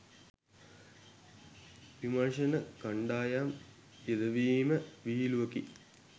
විමර්ශණ කණ්ඩායම් යෙදවීම විහිළුවකි.